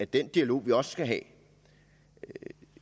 den dialog vi også skal have